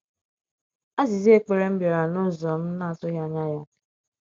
Aziza ekpere m biara n’ụzọ m na - atụghị anya ya.